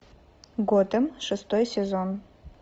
готэм шестой сезон